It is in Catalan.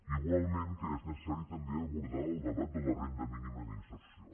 igualment que és necessari també abordar el debat de la renda mínima d’inserció